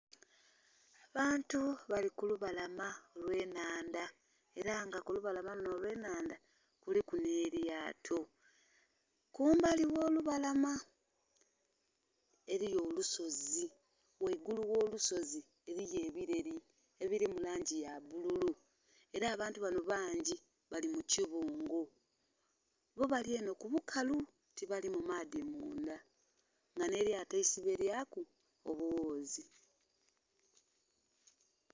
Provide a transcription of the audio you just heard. Abantu bali ku lubalama olw'ennhandha ela nga ku lubalama lunho olw'ennhandha kuliku nh'elyato, kumbali gh'olubalama eliyo olusozi, ghaigulu gh'olusozi eliyo ebileli ebili mu langi ya bbululu. Ela abantu banho bangi bali mu kibungo, bo bali enho ku bukalu tibali mu maadhi mundha, nga nh'elyato isibelyaku obughuzi.